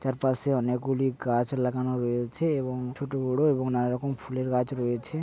চারপাশে অনেক গুলি গাছ লাগানো রয়েছে এবং ছোট বড় এবং নানা রকম ফুলের গাছ রয়েছে।